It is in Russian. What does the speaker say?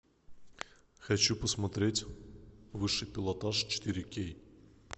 хочу посмотреть высший пилотаж четыре кей